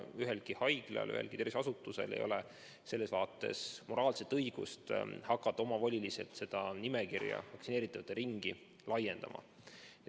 Ühelgi haiglal, ühelgi tervishoiuasutusel ei ole moraalset õigust hakata omavoliliselt seda nimekirja, vaktsineeritavate ringi laiendama.